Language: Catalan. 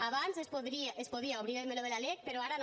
abans es podia obrir el meló de la lec però ara no